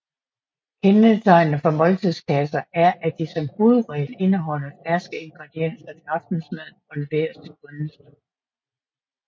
Kendetegnende for måltidskasser er at de som hovedregel indeholder ferske ingredienser til aftensmaden og leveres til kundens dør